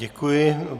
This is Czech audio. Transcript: Děkuji.